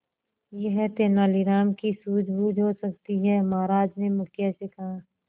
यह तेनालीराम की सूझबूझ हो सकती है महाराज ने मुखिया से कहा